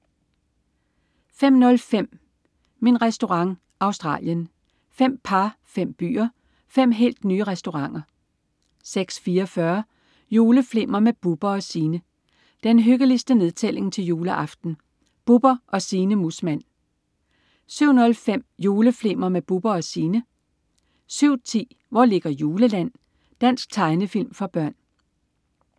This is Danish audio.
05.05 Min Restaurant. Australien. Fem par, fem byer, fem helt nye restauranter 06.44 Juleflimmer med Bubber & Signe. Den hyggeligste nedtælling til juleaften. Bubber og Signe Muusmann 07.05 Juleflimmer med Bubber & Signe 07.10 Hvor ligger Juleland? Dansk tegnefilm for børn